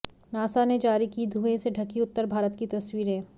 NASA ने जारी की धुएं से ढकी उत्तर भारत की तस्वीरें